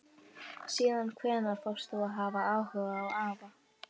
Síðan hvenær fórst þú að hafa áhuga á afa?